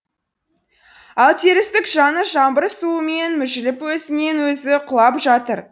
ал терістік жаны жаңбыр суымен мүжіліп өзінен өзі құлап жатыр